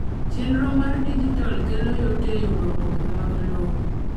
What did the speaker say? chenro mar dijital kelo yot e yudo oboke mag lowo.